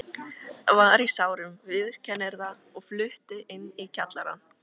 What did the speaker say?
Var í sárum, viðurkennir það, og flutti inn í kjallarann.